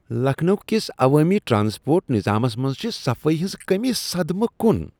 لکھنؤ کس عوٲمی ٹرانسپورٹ نِضامس منٛز چھ صفائی ہنٛز کٔمی صدمہٕ كُن ۔